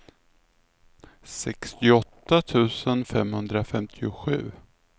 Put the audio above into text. sextioåtta tusen femhundrafemtiosju